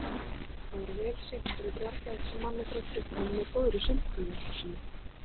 Hann var vel syntur og bjargaði eitt sinn manni frá drukknum með góðri sundkunnáttu sinni.